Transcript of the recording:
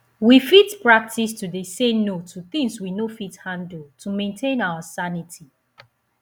we fit practice to dey say no to things we no fit handle to maintain our sanity